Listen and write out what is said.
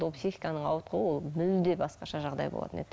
ол психиканың ауытқуы ол мүлде басқаша жағдай болатын еді